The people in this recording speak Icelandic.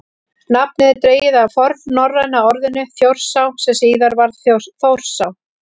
nafnið er dregið af fornnorræna orðinu „þjórsá“ sem síðar varð „þórsá“